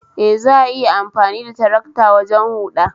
Eh, Za'a iya amfani da tarakta wajen huda